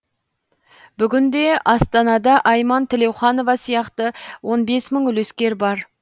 бүгінде астанада айман тілеуханова сияқты он бес мың үлескер бар